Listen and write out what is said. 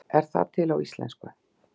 Er það til á íslensku?